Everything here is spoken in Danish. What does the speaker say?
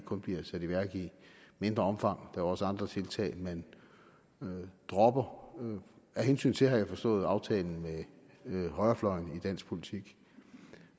kun bliver sat i værk i mindre omfang der er også andre tiltag man man dropper af hensyn til har jeg forstået aftalen med højrefløjen i dansk politik